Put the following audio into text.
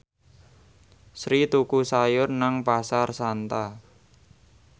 Sri tuku sayur nang Pasar Santa